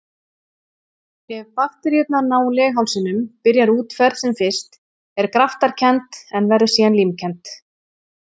Ef bakteríurnar ná leghálsinum byrjar útferð sem fyrst er graftarkennd en verður síðan límkennd.